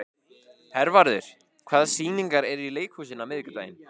Hervarður, hvaða sýningar eru í leikhúsinu á miðvikudaginn?